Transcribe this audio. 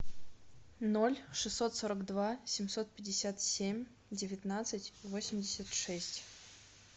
ноль шестьсот сорок два семьсот пятьдесят семь девятнадцать восемьдесят шесть